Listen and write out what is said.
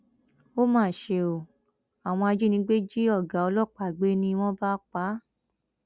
ó mà ṣe o àwọn ajínigbé jí ọgá ọlọpàá gbé ni wọn bá pa á